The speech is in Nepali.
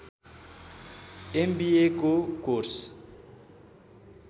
एमबिएको कोर्स